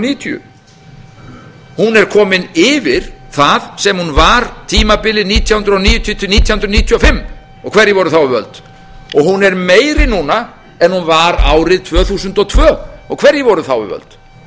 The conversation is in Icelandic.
níutíu hún er komin yfir það sem hún var tímabilið nítján hundruð níutíu til nítján hundruð níutíu og fimm og hverjir voru þá við völd hún er meiri núna en hún var árið tvö þúsund og tvö og hverjir voru þá við völd